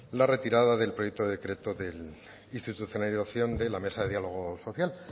la retirada del proyecto decreto de institucionalización de la mesa de diálogo social